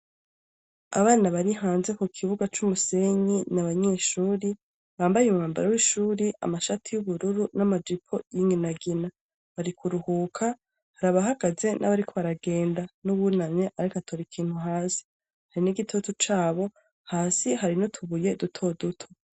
Abana bari hanze ku kibuga c'umusenyi n'abanyeshuri bambaye umwambaro w'ishuri, amashati y'ubururu n'amajipo y'inginagina. Bari kuruhuka hari abahagaze n'abariko baragenda, n'ubunamye ariko atora ikintu hasi. Hari n'igitutu cabo, hasi hari n'utubuye duto duto.